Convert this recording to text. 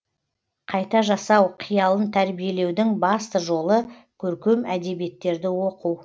қайта жасау қиялын тәрбиелеудің басты жолы көркем әдебиеттерді оқу